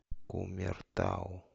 кумертау